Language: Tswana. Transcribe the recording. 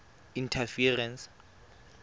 interference